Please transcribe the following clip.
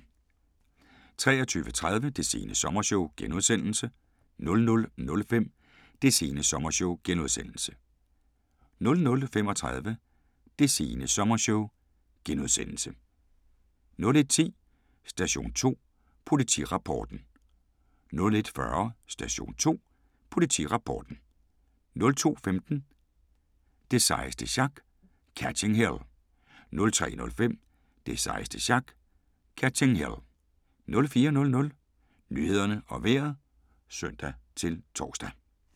23:30: Det sene sommershow * 00:05: Det sene sommershow * 00:35: Det sene sommershow * 01:10: Station 2: Politirapporten 01:40: Station 2: Politirapporten 02:15: Det sejeste sjak - Catching Hell 03:05: Det sejeste sjak - Catching Hell 04:00: Nyhederne og Vejret (søn-tor)